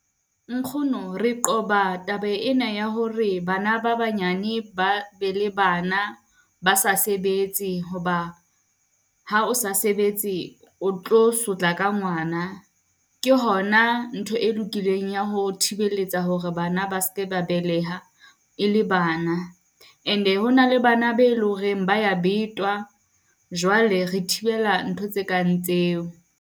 Nkgono re qoba taba ena ya hore bana ba banyane ba be le bana ba sa sebetse, ho ba ha o sa sebetse o tlo sotla ka ngwana. Ke hona ntho e lokileng ya ho thibeletsa hore bana ba seke ba beleha e le bana. Ene ho na le bana be loreng ba ya betwa, jwale re thibela ntho tse kang tseo.